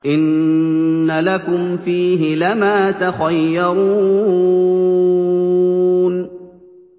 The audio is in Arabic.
إِنَّ لَكُمْ فِيهِ لَمَا تَخَيَّرُونَ